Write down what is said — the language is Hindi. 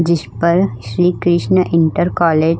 जिश पर श्री कृष्ण इंटर कॉलेज --